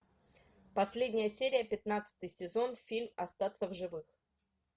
последняя серия пятнадцатый сезон фильм остаться в живых